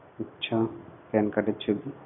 আচ্ছা pan card এর ছবি.